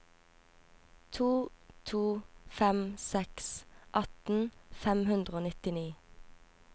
to to fem seks atten fem hundre og nittini